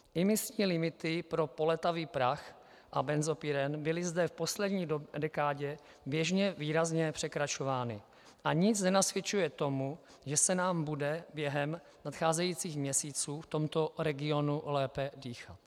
Imisní limity pro polétavý prach a benzopyren byly zde v poslední dekádě běžně výrazně překračovány a nic nenasvědčuje tomu, že se nám bude během nadcházejících měsíců v tomto regionu lépe dýchat.